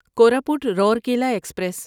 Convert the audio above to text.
Koraput Rourkela express